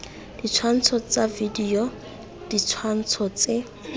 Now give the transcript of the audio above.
ditshwantsho tsa video ditshwantsho tse